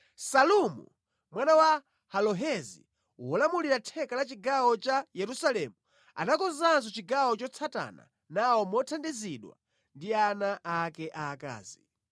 Salumu mwana wa Halohesi wolamulira theka la chigawo cha Yerusalemu, anakonzanso chigawo chotsatana nawo mothandizidwa ndi ana ake akazi.